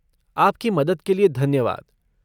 आपकी मदद के लिए धन्यवाद।